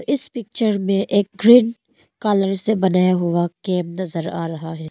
इस पिक्चर में एक ग्रीन कलर से बनाया हुआ कैम नजर आ रहा है।